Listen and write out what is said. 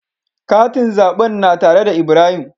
Katin zaɓen na tare da Ibrahim.